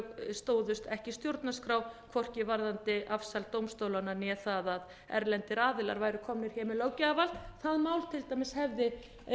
stóðust ekki stjórnarskrá hvorki varðandi afsal dómstólanna né það að erlendir aðilar væru komnir hér með löggjafarvald það mál til dæmis hefði